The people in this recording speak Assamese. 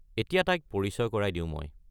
এতিয়া তাইক পৰিচয় কৰাই দিও মই।